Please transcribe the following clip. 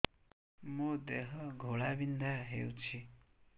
ମୋ ଦେହ ଘୋଳାବିନ୍ଧା ହେଉଛି